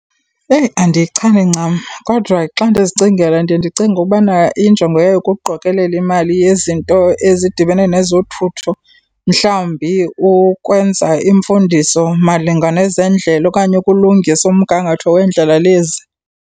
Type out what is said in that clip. Eyi, andiyichani ncam. Kodwa xa ndizicingela ndiye ndicinge ubana injongo yayo kukuqokelela imali yezinto ezidibene nezothutho, mhlawumbi ukwenza iimfundiso malunga nezendlela okanye ukulungisa umgangatho weendlela lezi.